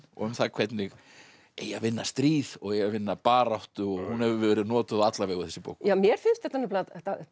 og um það hvernig eigi að vinna stríð og eigi að vinna baráttu og hún hefur verið notuð á alla vegu þessi bók mér finnst þetta nefnilega